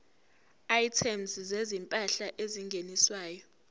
items zezimpahla ezingeniswayo